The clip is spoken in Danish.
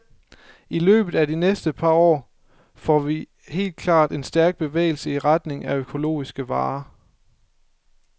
I løbet af de næste par år får vi helt klart en stærk bevægelse i retning af økologiske varer.